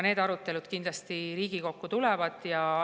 Need arutelud kindlasti Riigikokku tulevad.